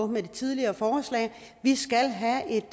med det tidligere forslag vi skal have et